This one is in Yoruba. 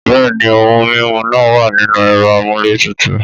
Bẹ́ẹ̀ ni, ohun mímu náà wà nínú ẹ̀rọ amúlétutù.